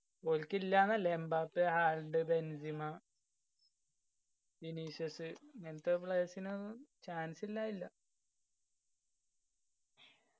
ഓൽക്ക് ഇല്ലാന്ന് എല്ലാ എമ്ബാപ്പെ ആൾഡ്‌ ബെൻസിമ ഇങ്ങനത്തെ players നൊന്നും chance ഇല്ലാതില്ല